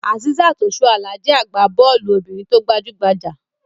Asisat Osuala jẹ́ agbá-bọ́ọ́lù obìnrin tó gbajú-gbajà.